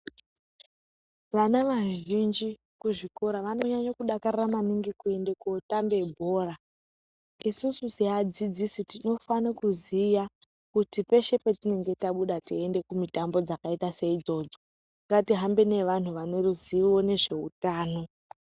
Vana vazhinji kuzvikora vanonyanyakudakarira maningi kuende kootambe bhora isusu seadzidzisi tinofana kuziya kuti peshe patinenge tabuda teiende kumitambo dzakaita seidzodzo ngatihambe nevantu vaneruzivo nezveutano.